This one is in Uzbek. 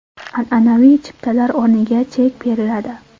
An’anaviy chiptalar o‘rniga chek beriladi.